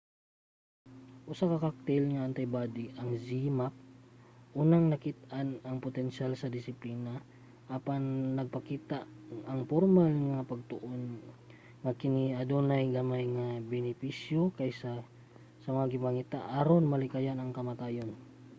ang usa ka cocktail nga antibody ang zmapp unang nakit-an og potensiyal sa disiplina apan nagpakita ang pormal nga mga pagtuon nga kini adunay gamay lang nga benepisyo kaysa sa gipangita aron malikayan ang kamatayon